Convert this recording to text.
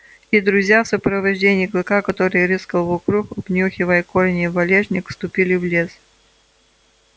и друзья в сопровождении клыка который рыскал вокруг обнюхивая корни и валежник вступили в лес